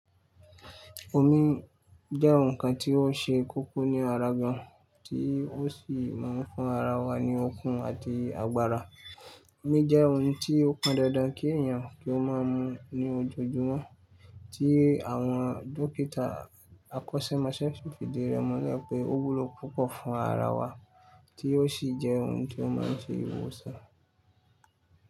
Omi jẹ́ ohun kan tí ó ṣe kókó ní ara gan, tí ó sì máa ń fún ara wa ní okun àti agbára. Omi jẹ́ ohun tí ó pọn dandan kí èèyàn kí ó máa mu ní ojoojúmọ́, tí àwọn dókítà akọ́sẹ́mọsẹ́ fìdí rẹ̀ múlè pé ó wúlò púpọ̀ fún ara wa, tí ó sì jẹ́ ohun tí ó máa ń ṣe ìwòsàn.